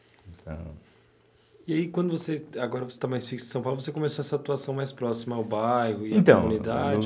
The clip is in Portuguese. E aí, quando você, agora você está mais fixo em São Paulo, você começou essa atuação mais próxima ao bairro e à comunidade?